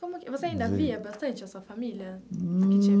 Como você ainda via bastante a sua família?